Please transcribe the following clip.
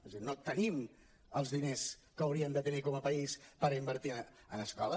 és a dir no tenim els diners que hauríem de tenir com a país per invertir en escola